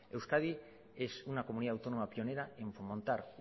euskadi es una comunidad autónoma pionera en fomentar